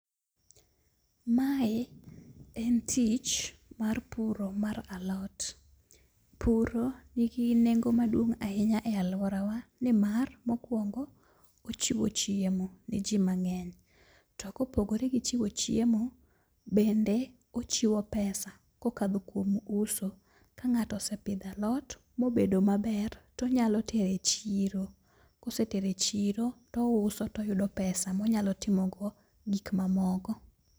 Mae en tich mar puro mar alot. Puro nigi nengo maduong' ahinya e alwora wa. Nimar mokwongo ochiwo chiemo ne ji mang'eny. To kopogore gi chiwo chiemo bende ochiwo pesa kokadho kuom uso. Ka ng'ato osepidhalot mobedo maber, tonyalo tere chiro. Kosetere chiro, touso toyudo pesa monyalo timogo gik mamoko.